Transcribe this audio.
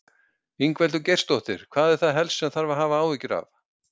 Ingveldur Geirsdóttir: Hvað er það helst sem þarf að hafa áhyggjur af?